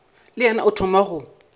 le yena o thoma go